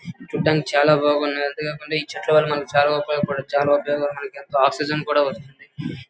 చూడ్డానికి చాల బాగుంది అంతే కాకుండా ఈ చెట్ల వలన చాల ఉపయోగ పాడ్ చాల ఉపయోగాలున్నాయి ఆక్సిజెన్ కూడా వస్తుంది.